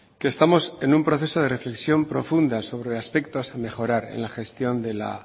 que estamos en un proceso de reflexión profunda sobre aspectos a mejorar en la gestión de la